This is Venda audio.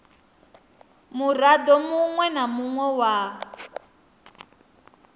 murado munwe na munwe wa